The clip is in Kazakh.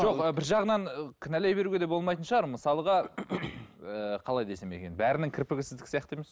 жоқ ы бір жағынан ы кінәлай беруге де болмайтын шығар мысалға ыыы қалай десем екен бәрінің кірпігі сіздікі сияқты емес